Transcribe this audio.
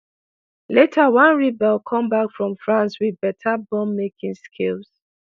later one rebel come back from france wit better bomb-making skills.